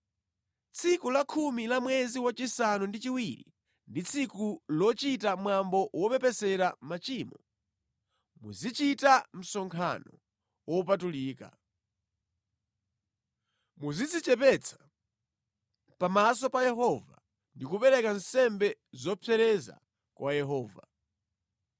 “Tsiku lakhumi la mwezi wachisanu ndi chiwiri ndi tsiku lochita Mwambo Wopepesera Machimo. Muzichita msonkhano wopatulika. Muzidzichepetsa pamaso pa Yehova ndi kupereka nsembe zopsereza kwa Yehova.